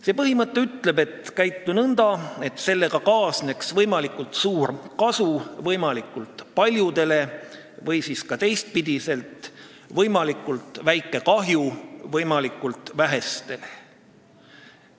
See põhimõte ütleb, et käitu nõnda, et sellega kaasneks võimalikult suur kasu võimalikult paljudele või siis ka teistpidi: võimalikult väike kahju võimalikult vähestele.